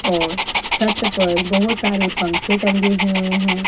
और छत पर बहोत सारे पंखे टंगे हुए हैं।